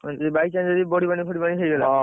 By chance ଯଦି ବଢିପାଣି ଫଡିପାଣି ହେଇଗଲା ।